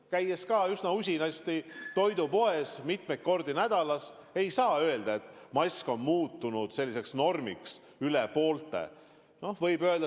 Ma käin ka üsna usinasti toidupoes, mitu korda nädalas, ja ei saa öelda, et mask on rohkem kui pooltele normiks muutunud.